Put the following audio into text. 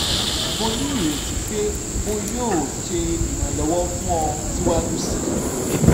mo ni ireti pe o yoo ṣe iranlọwọ fun ọ siwaju sii